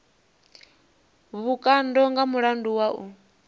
vhukando nga mulandu wa u